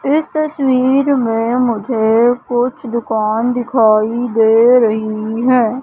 इस तस्वीर में मुझे कुछ दुकान दिखाई दे रही है।